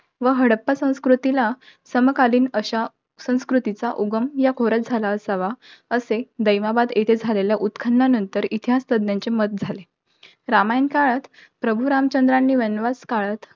व हडप्पा संस्कृतीला, समकालीन अशा संस्कृतीचा उगम या खोऱ्यात झाला असावा. असे दैमाबाद येथे झालेल्या उत्खानानंतर इतिहास तज्ञांचे मत झाले. रामायण काळात, प्रभू रामचंद्रानी वनवास काळात